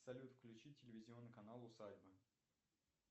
салют включи телевизионный канал усадьба